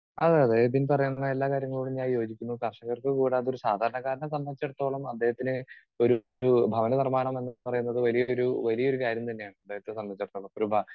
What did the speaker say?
Speaker 2 അതെ അതെ എബിൻ പറയുന്ന എല്ലാ കാര്യങ്ങളോടും ഞാൻ യോജിക്കുന്നു. കർഷകർക്ക് കൂടാതെ ഒരു സാധാരണക്കാരനെ സംബന്ധിച്ചിടത്തോളം അദ്ദേഹത്തിന് ഒരു ഭവന നിർമ്മാണം എന്നുപറയുന്നത് വലിയ ഒരു വലിയൊരു കാര്യം തന്നെയാണ് അദ്ദേഹത്തെ സംബന്ധിച്ചിടത്തോളം. ഒരു ഭാ